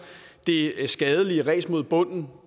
det skadelige ræs mod bunden